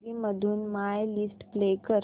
gallery मधून my list play कर